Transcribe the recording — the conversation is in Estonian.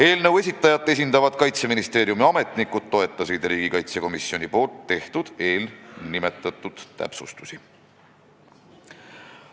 Eelnõu esitajat esindavad Kaitseministeeriumi ametnikud toetasid riigikaitsekomisjoni tehtud täpsustusi.